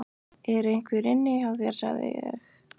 ER EINHVER INNI HJÁ ÞÉR, SAGÐI ÉG?